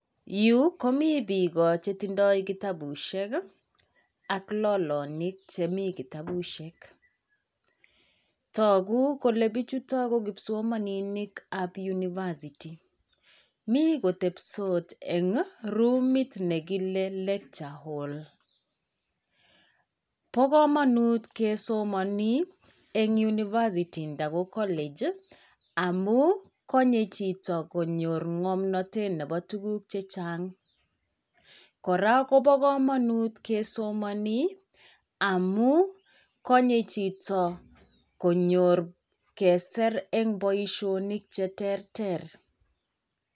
Yu komi biik chetindoi kitabusiek ak lolonik chemi kitabusiek. Togu kole bichuto ko kipsomaninikab university. Mi kotebsot eng' roomit nekile lecture hall. Bo komonut kesomoni eng' unversity nda ko college, amu konye chito konyor ng'omnatetet nebo tuguk chechang'. Koraa, kobo komonut kesomoni amu konye chito konyor kesir eng' boisionik che terter.